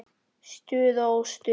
Stuð og óstuð.